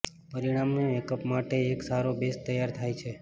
પરિણામે મેકઅપ માટે એક સારો બેઝ તૈયાર થાય છે